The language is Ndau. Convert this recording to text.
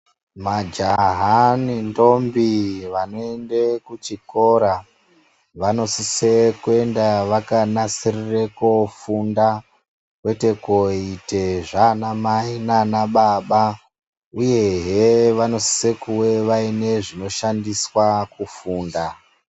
Majaha nendombi vanoenda kuchikora, vanosise kuenda vakanasirire kofunda kwete koite zvanamai nana baba, uyehe vanosise kuve vaine zvinoshandiswa pakufunda.